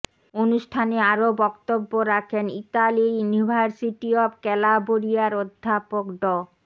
অনুষ্ঠানে আরো বক্তব্য রাখেন ইতালির ইউনিভার্সিটি অব ক্যালাবরিয়ার অধ্যাপক ড